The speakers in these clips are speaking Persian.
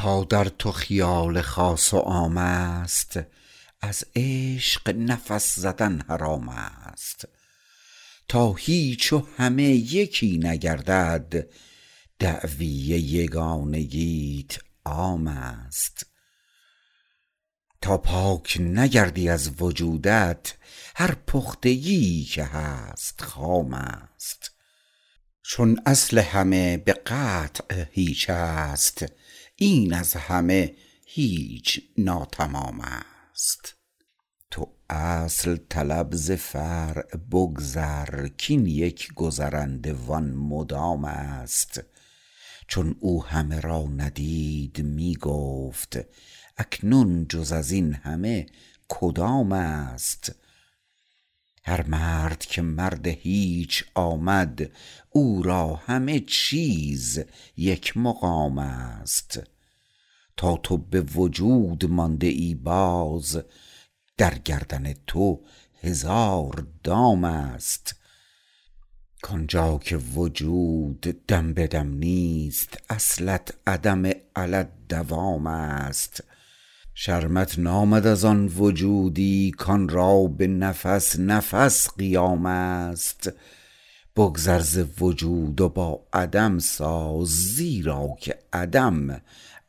تا در تو خیال خاص و عام است از عشق نفس زدن حرام است تا هیچ و همه یکی نگردد دعوی یگانگیت عام است تا پاک نگردی از وجودت هر پختگیی که هست خام است چون اصل همه به قطع هیچ است این از همه هیچ ناتمام است تو اصل طلب ز فرع بگذر کین یک گذرنده و آن مدام است چون او همه را ندید می گفت اکنون جز ازین همه کدام است هر مرد که مرد هیچ آمد او را همه چیز یک مقام است تا تو به وجود مانده ای باز در گردن تو هزار دام است کانجا که وجود دم به دم نیست اصلت عدم علی الدوام است شرمت نامد از آن وجودی کان را به نفس نفس قیام است بگذر ز وجود و با عدم ساز زیرا که عدم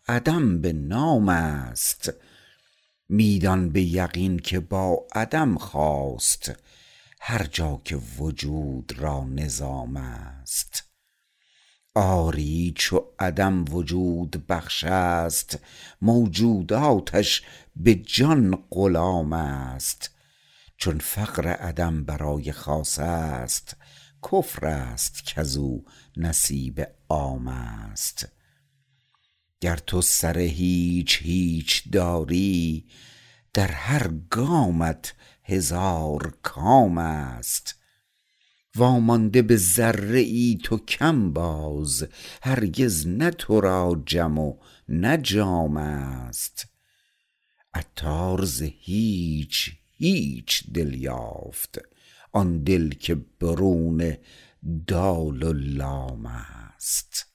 عدم به نام است می دان به یقین که با عدم خاست هرجا که وجود را نظام است آری چو عدم وجود بخش است موجوداتش به جان غلام است چون فقر عدم برای خاص است کفر است کزو نصیب عام است گر تو سر هیچ هیچ داری در هر گامت هزار کام است وامانده به ذره ای تو کم باز هرگز نه تو را جم و نه جام است عطار ز هیچ هیچ دل یافت آن دل که برون دال و لام است